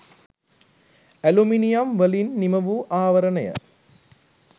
aluminium වලින් නිමවූ ආවරණය